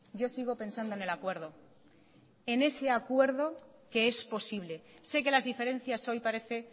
yo sigo pensando en el acuerdo en ese acuerdo que es posible sé que las diferencias hoy parece